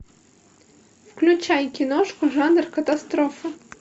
включай киношку жанр катастрофа